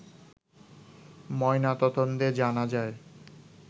ময়নাতদন্তে জানা যায়